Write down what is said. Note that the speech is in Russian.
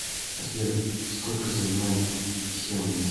сбер сколько занимает хемниц